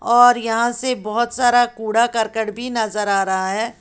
और यहां से बहुत सारा कूड़ा कर करकट भी नजर आ रहा है।